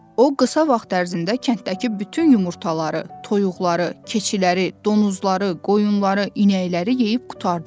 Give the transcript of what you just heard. O qısa vaxt ərzində kənddəki bütün yumurtaları, toyuqları, keçiləri, donuzları, qoyunları, inəkləri yeyib qurtardı.